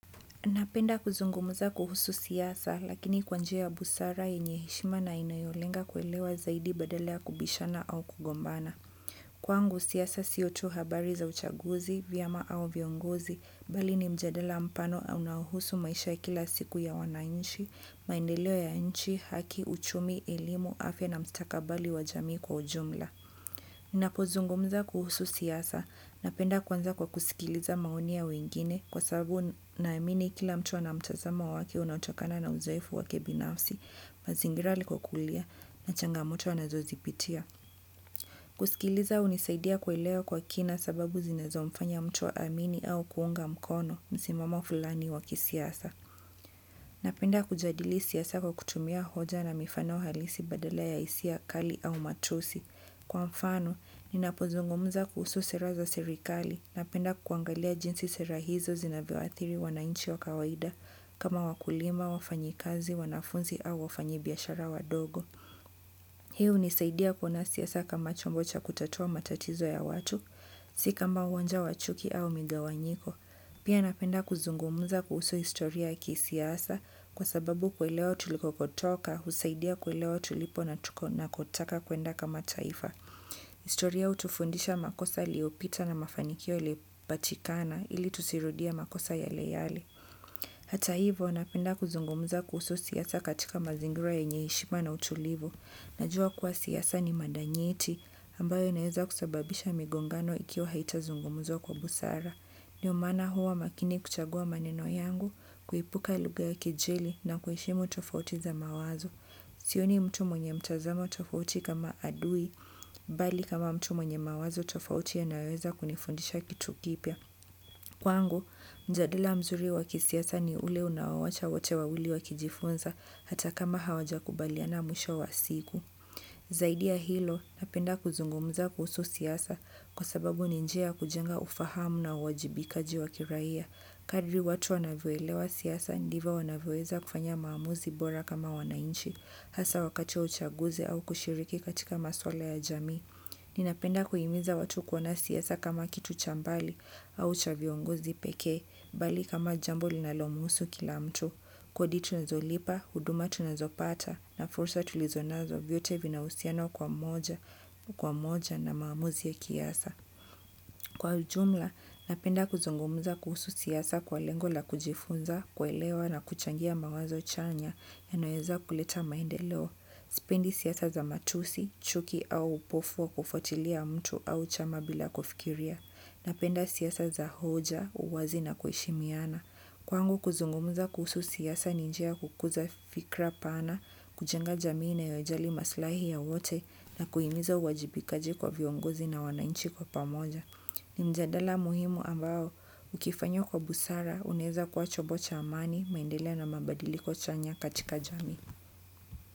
Napenda kuzungumza kuhusu siasa, lakini kwa njia ya busara, yenye heshima na inayolenga kuelewa zaidi badala ya kubishana au kugombana. Kwangu siasa sio tu habari za uchaguzi, vyama au viongozi, bali ni mjadala mpano au unaohusu maisha ya kila siku ya wananchi, maendeleo ya nchi, haki, uchumi, elimu, afya na mstakabali wa jamii kwa ujumla. Ninapozungumza kuhusu siasa, napenda kuanza kwa kusikiliza maoni ya wengine kwa sababu naamini kila mtu ana mtazamo wake unatokana na uzoefu wake binafsi, mazingira alikokulia na changamoto anazozipitia. Kusikiliza hunisaidia kuelewa kwa kina sababu zinazo mfanya mtu aamini au kuunga mkono msimamo fulani wa kisiasa. Napenda kujadili siasa kwa kutumia hoja na mifano halisi badala ya hisia kali au matusi. Kwa mfano, ninapozungumza kuhusu sera za serikali. Napenda kuangalia jinsi sera hizo zinavyoathiri wananchi wa kawaida. Kama wakulima, wafanyikazi, wanafunzi au wafanyibiashara wadogo. Hii hunisaidia kuona siasa kama chombo cha kutatua matatizo ya watu, si kama uwanja wa chuki au migawanyiko. Pia napenda kuzungumza kuhusu historia ya kisiasa kwa sababu kuelewa tulikotoka, husaidia kuelewa tulipo na tuko nakotaka kuenda kama taifa. Historia hutufundisha makosa yaliopita na mafanikio ilipatikana ili tusirudie makosa yale yale. Hata hivyo, napenda kuzungumza kuhusu siasa katika mazingira yenye heshima na utulivu. Najua kuwa siasa ni mada nyeti ambayo inaweza kusababisha migongano ikiwa haitazungumuzwa kwa busara. Ndio maana huwa makini kuchagua maneno yangu, kuepuka lugha ya kejeli na kuheshimu tofauti za mawazo. Sioni mtu mwenye mtazamo tofauti kama adui, bali kama mtu mwenye mawazo tofauti yanayoweza kunifundisha kitu kipya. Kwangu, mjadala mzuri wa kisiasa ni ule unaowacha wote wawili wakijifunza hata kama hawajakubaliana mwisho wa siku. Zaidi ya hilo, napenda kuzungumza kuhusu siasa kwa sababu ni njia ya kujenga ufahamu na uwajibikaji wa kiraia. Kadri watu wanavyoelewa siasa, ndivyo wanavyoweza kufanya maamuzi bora kama wananchi, hasa wakati wa uchaguzi au kushiriki katika maswala ya jamii. Ninapenda kuhimiza watu kuona siasa kama kitu cha mbali au cha viongozi pekee bali kama jambo linalomhusu kila mtu. Kodi tunazolipa, huduma tunazopata na fursa tulizonazo vyote vina uhusiano kwa moja na maamuzi ya kiasa. Kwa ujumla, napenda kuzungumza kuhusu siasa kwa lengo la kujifunza, kuelewa na kuchangia mawazo chanya yanayoeza kuleta maendeleo. Sipendi siasa za matusi, chuki au upofu wa kufuatilia mtu au chama bila kufikiria. Napenda siasa za hoja, uwazi na kuheshimiana. Kwangu kuzungumza kuhusu siasa ni njia ya kukuza fikra pana, kujenga jamii inayojali maslahi ya wote na kuhimiza uwajibikaji kwa viongozi na wananchi kwa pamoja. Ni mjadala muhimu ambao ukifanywa kwa busara unaweza kuwa chombo cha amani, maendeleo na mabadiliko chanya katika jamii.